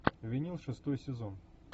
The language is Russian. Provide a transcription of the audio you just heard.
винил шестой сезон